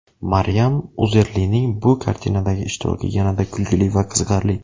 Maryam Uzerlining bu kartinadagi ishtiroki yanada kulgili va qiziqarli.